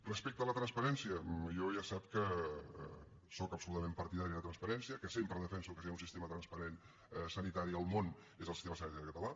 respecte a la transparència jo ja sap que jo sóc absolutament partidari de la transparència que sempre defenso que si hi ha un sistema transparent sanitari en el món és el sistema sanitari català